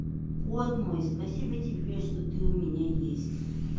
кот мой спасибо тебе что ты у меня есть